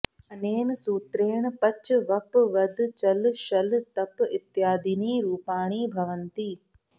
अनेन सूत्रेण पच वप वद चल शल तप इत्यादीनि रूपाणि भवन्ति